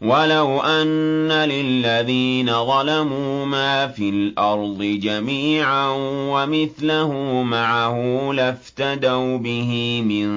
وَلَوْ أَنَّ لِلَّذِينَ ظَلَمُوا مَا فِي الْأَرْضِ جَمِيعًا وَمِثْلَهُ مَعَهُ لَافْتَدَوْا بِهِ مِن